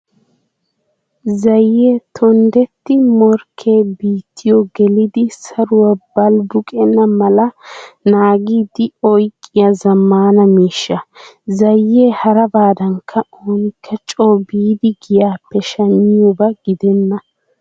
Zayee tonddetti morkkee biittiyo gelidi saruwaa balbuqenna mala naagiiddi oyqqiyo zammaana miishsha. Zayee harabaadan oonikka coo biidi giyaappe shammiyoobaa gidennana.